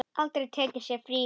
Aldrei tekið sér frí.